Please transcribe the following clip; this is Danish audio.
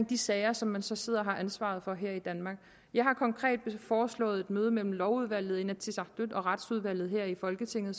de sager som man så sidder og har ansvaret for her i danmark jeg har konkret foreslået et møde med lovudvalget inatsisartut og retsudvalget her i folketinget